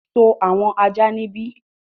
sọ àwọn ajá níbí!